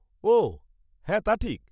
ওঃ হ্যাঁ, তা ঠিক।